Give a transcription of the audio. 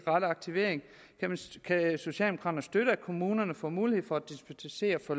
rette aktivering kan socialdemokraterne støtte at kommunerne får mulighed for at dispensere fra